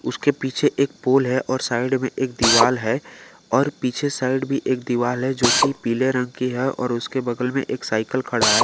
उसके पीछे एक पोल है और साइड में एक दीवाल है और पीछे साइड भी एक दीवाल है जो कि पीले रंग की है और उसके बगल में एक साइकिल खड़ा है।